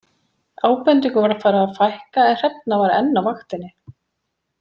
Ábendingum var farið að fækka en Hrefna var enn á vaktinni.